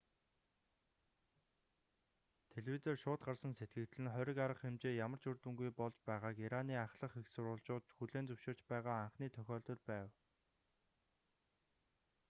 телевизээр шууд гарсан сэтгэгдэл нь хориг арга хэмжээ ямар ч үр дүнгүй болж байгааг ираны ахлах эх сурвалжууд хүлээн зөвшөөрч байгаа анхны тохиолдол байв